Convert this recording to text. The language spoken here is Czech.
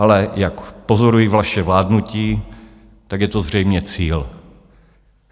Ale jak pozoruji vaše vládnutí, tak je to zřejmě cíl.